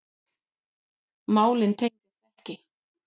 Málin tengjast ekki.